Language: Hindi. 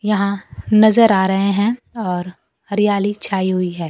यहां नज़र आ रहे हैं और हरियाली छाई हुई है।